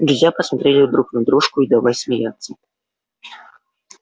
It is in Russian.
друзья посмотрели друг на дружку и давай смеяться